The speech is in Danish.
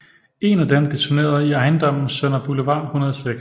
En af dem detonerede i ejendommen Sønder Boulevard 106